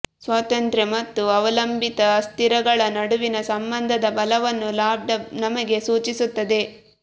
ಸ್ವತಂತ್ರ ಮತ್ತು ಅವಲಂಬಿತ ಅಸ್ಥಿರಗಳ ನಡುವಿನ ಸಂಬಂಧದ ಬಲವನ್ನು ಲಾಂಬ್ಡಾ ನಮಗೆ ಸೂಚಿಸುತ್ತದೆ